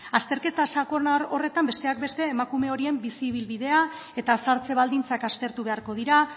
azterketa sakon horretan besteak beste emakume horien bizi ibilbidea eta zahartze baldintzak aztertu beharko dira